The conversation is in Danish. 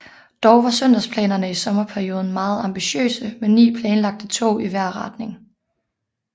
Dog var søndagsplanerne i sommerperioden meget ambitiøse med 9 planlagte tog i hver retning